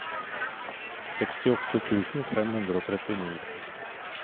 sekstiåtte tusen fem hundre og trettini